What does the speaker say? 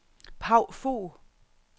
Paw Fogh